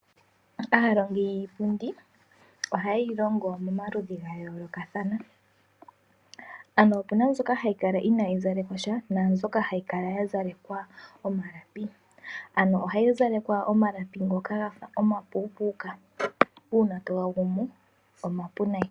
Aalongi yiipundi oha ye yi longo momaludhi ga yoolokathana , ano opu na mbyoka hayi kala inaa yi zalekwa sha, naambyoka ha yi kala ya zalekwa omalapi, ano oha yi zalekwa omalapi ngoka ga fa omapuupuuka, uuna to ga gumu oma pu nayi.